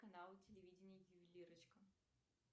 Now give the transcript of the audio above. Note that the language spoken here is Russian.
канал телевидения ювелирочка